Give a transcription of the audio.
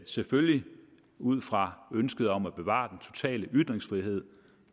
selvfølgelig ud fra ønsket om at bevare den totale ytringsfrihed